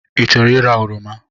I chọrọ ịra oroma?